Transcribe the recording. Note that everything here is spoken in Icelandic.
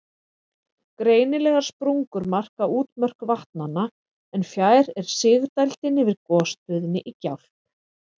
Greinilegar sprungur marka útmörk vatnanna, en fjær er sigdældin yfir gosstöðinni í Gjálp.